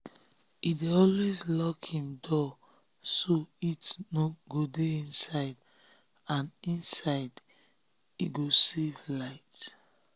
he dey um always lock him door so heat um go dey inside and inside and he go um save light.